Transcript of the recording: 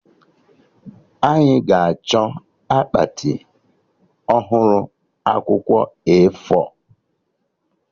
Anyị ga-achọ akpati ọhụrụ akwụkwọ A4